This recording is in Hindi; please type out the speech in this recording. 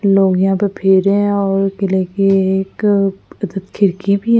लोग यहां पर फिर रहे हैं और किले की एक अदत खिरकी --